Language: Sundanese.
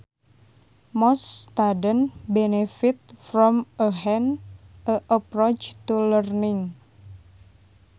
Most students benefit from a hands on approach to learning